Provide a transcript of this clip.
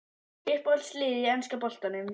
Uppáhaldslið í enska boltanum?